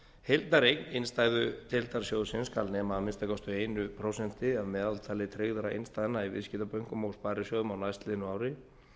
heildareign innstæðudeildar sjóðsins skal nema að minnsta kosti eitt prósent af meðaltali tryggðra innstæðna í viðskiptabönkum og sparisjóðum á næstliðnu ári